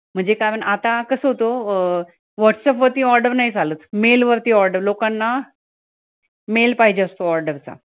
म्हणजे कारण आता कसं होतं अं whatsapp वरती order नाही चालत mail वरती order लोकांना mail पाहिजे असतो order चा